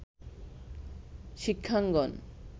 শিক্ষাঙ্গন